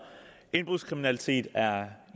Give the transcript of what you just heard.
indbrudskriminalitet er